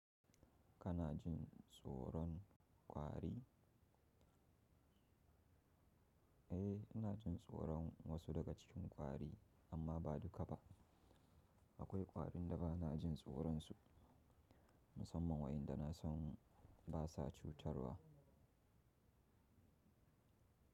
Kana jin tsoron kwari? Eh, ina jin tsoron wasu daga cikin kwari, amma ba duka ba. Akwai kwarin da ba na jin tsoronsu, musamman waɗanda na san ba sa cutarwa.